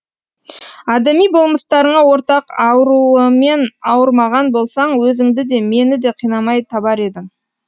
адами болмыстарыңа ортақ ауруымен ауырмаған болсаң өзіңді де мені де қинамай табар едің